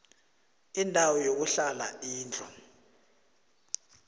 indawo yokuhlala indlu